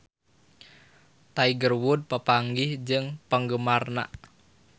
Tiger Wood papanggih jeung penggemarna